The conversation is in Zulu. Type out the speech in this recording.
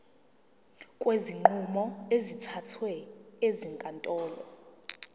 kwezinqumo ezithathwe ezinkantolo